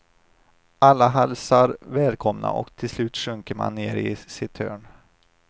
Alla hälsar välkomna och till slut sjunker man ner i sitt hörn.